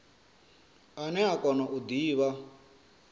ane a kona u divha